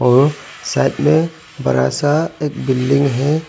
ओ साथ मे बड़ा सा एक बिल्डिंग है।